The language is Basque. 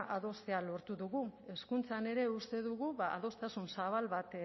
adostea lortu dugu hezkuntzan ere uste dugu adostasun zabal bat